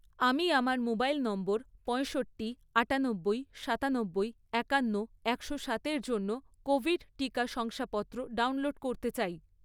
আমি আমার mobile number পঁয়ষট্টি, আটানব্বই, সাতানব্বই, একান্ন, একশো সাতএর জন্য কোভিড টিকা শংসাপত্র ডাউনলোড করতে চাই